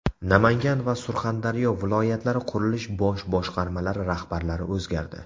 Namangan va Surxondaryo viloyatlari qurilish bosh boshqarmalari rahbarlari o‘zgardi.